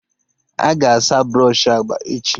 Aga asa brọshị agba echi